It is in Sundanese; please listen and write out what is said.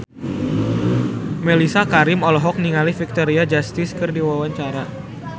Mellisa Karim olohok ningali Victoria Justice keur diwawancara